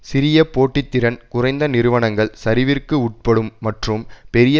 சிறிய போட்டி திறன் குறைந்த நிறுவனங்கள் சரிவிற்கு உட்படும் மற்றும் பெரிய